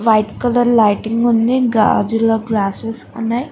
White colour lighting ఉంది గాజుల glasses ఉన్నాయి.